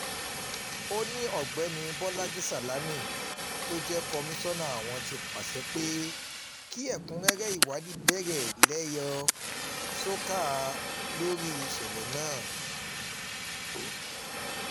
ó ní ọ̀gbẹ́ni bolaji salami tó jẹ́ komisanna àwọn ti pàṣẹ pé kí ẹ̀kúnrẹ́rẹ́ ìwádìí bẹ̀rẹ̀ lẹ́yẹ-ò-ṣọ́ká lórí ìṣẹ̀lẹ̀ náà